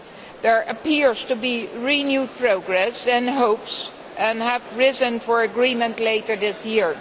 There appears to be renewed progress, and hopes have risen for agreement later this year.